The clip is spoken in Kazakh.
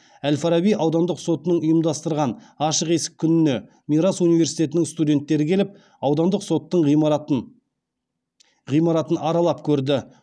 әл фараби аудандық сотының ұйымдастырған ашық есік күніне мирас университетінің студенттері келіп аудандық соттың ғимаратын аралап көрді